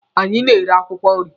Anyị na-ere akwụkwọ nri.